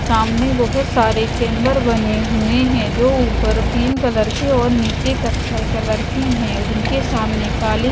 सामने बहोत सारे चैंबर बने हुए हैं जो ऊपर क्रीम कलर की और नीचे कत्थई कलर की है जिनके सामने काली--